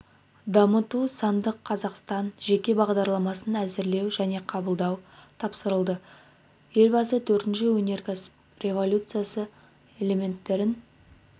дамыту сандық қазақстан жеке бағдарламасын әзірлеу және қабылдау тапсырылды елбасы төртінші өнеркәсіптік революция элементтерін